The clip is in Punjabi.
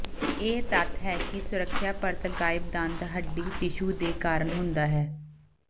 ਇਹ ਤੱਥ ਹੈ ਕਿ ਸੁਰੱਖਿਆ ਪਰਤ ਗਾਇਬ ਦੰਦ ਹੱਡੀ ਟਿਸ਼ੂ ਦੇ ਕਾਰਨ ਹੁੰਦਾ ਹੈ